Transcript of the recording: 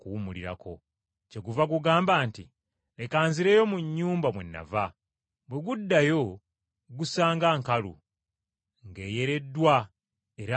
Kyeguva gugamba nti, ‘Leka nzireyo mu nnyumba mwe nava.’ Bwe guddayo gusanga nkalu, nga eyereddwa era nga ntegeke.